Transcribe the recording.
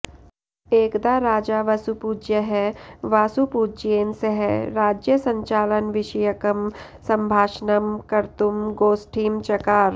एकदा राजा वसुपूज्यः वासुपूज्येन सह राज्यसञ्चालनविषयकं सम्भाषणं कर्तुं गोष्ठीं चकार